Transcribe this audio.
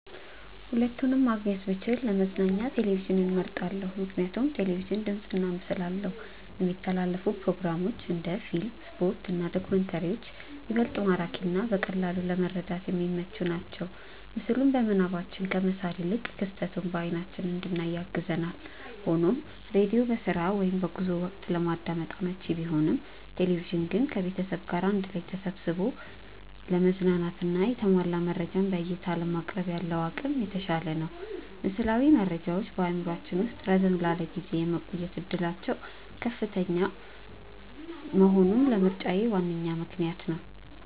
ሁለቱንም ማግኘት ብችል ለመዝናኛ ቴሌቪዥንን መርጣለው። ምክንያቱም ቴሌቪዥን ድምፅና ምስል አለው፣ የሚተላለፉ ፕሮግራሞች (እንደ ፊልም፣ ስፖርት እና ዶክመንተሪዎች) ይበልጥ ማራኪና በቀላሉ ለመረዳት የሚመቹ ናቸው። ምስሉን በምናባችን ከመሳል ይልቅ ክስተቱን በአይናችን እንድናይ ያግዛል። ሆኖም ሬዲዮ በስራ ወይም በጉዞ ወቅት ለማዳመጥ አመቺ ቢሆንም፣ ቴሌቪዥን ግን ከቤተሰብ ጋር አንድ ላይ ተሰብስቦ ለመዝናናትና የተሟላ መረጃን በዕይታ ለማቅረብ ያለው አቅም የተሻለ ነው። ምስላዊ መረጃዎች በአእምሯችን ውስጥ ረዘም ላለ ጊዜ የመቆየት ዕድላቸው ከፍተኛ መሆኑም ለምርጫዬ ዋነኛ ምክንያት ነው።